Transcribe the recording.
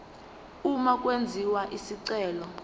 uma kwenziwa isicelo